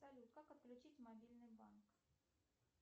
салют как отключить мобильный банк